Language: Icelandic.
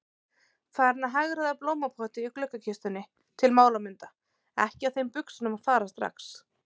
Farin að hagræða blómapotti í gluggakistunni til málamynda, ekki á þeim buxunum að fara strax.